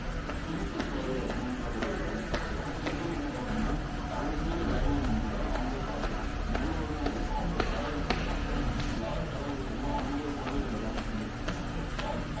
self employed அப்டின்ற ஒரு concept இருக்கு சில பேர் வந்து பாத்திங்கன்னா அவங்க செய்ற வேலைய வச்சுதான் அவங்களுக்கு காஸ் வரும் எதுவேணாலும் இருக்கட்டும் அவங்க ஒரு கட வச்சுருப்பாங்க யார் கடை வச்சாங்களோ அவங்களே உட்காந்து அங்க வேல செஞ்சிட்டு இருப்பாங்க